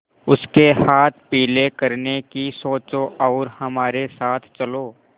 उसके हाथ पीले करने की सोचो और हमारे साथ चलो